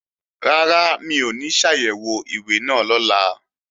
Rárá, mi ò ní ṣàyẹ̀wò ìwé náà lọ́la